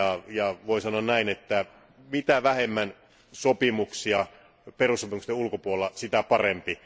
ja voin sanoa näin, että mitä vähemmän sopimuksia perussopimusten ulkopuolella, sitä parempi.